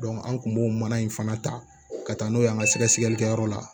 an kun b'o mana in fana ta ka taa n'o ye an ka sɛgɛsɛgɛlikɛyɔrɔ la